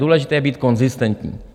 Důležité je být konzistentní.